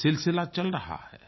ये सिलसिला चल रहा है